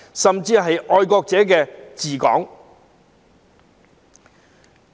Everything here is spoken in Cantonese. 甚麼是"愛國者治港"？